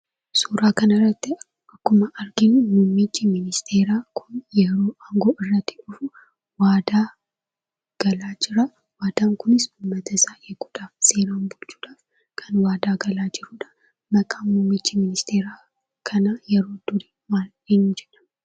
Suuraa kanarratti akkuma arginu, mummichii ministeeraa kun yeroo aangoo irratti dhufu, waadaa galaa jira. Waadaan kunis ummata isaa eeguudhaaf seeraan bulchuudhaaf kan waadaa galaa jiruudha. Maqaan mummicha miniisteera kanaa yeroo durii eenyu jedhama?